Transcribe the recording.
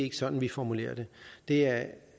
er sådan vi formulerer det det er